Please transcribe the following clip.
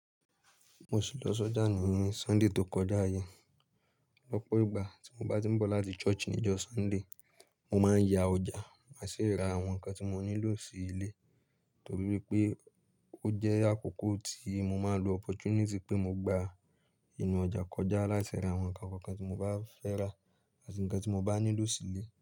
Mo sì lọ sọjà ní ni Sunday tó kọjá yẹn. Lọ́pọ̀ ìgbà tí mo bá tí ń bọ̀ láti church níjọ́ Sunday, mo máa ń ya ọjà, máa sì ra àwọn nǹkan tí mo nílò sí ilé, torí pé ó jẹ́ àkókò tí mo máa lo opportunity pé mo gba inú ọjà kọjá láìṣe ra àwọn nǹkan kankan tí mo bá fẹ́ rà àti nǹkan tí mo bá nílò sí ilé.